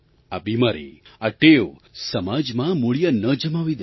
આ બીમારી આ ટેવ સમાજમાં મૂળિયાં ન જમાવી દે